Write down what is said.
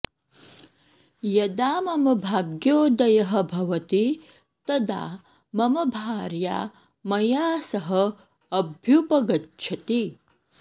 यदा मम भाग्योदयः भवति तदा मम भार्या मया सह अभ्युपगच्छति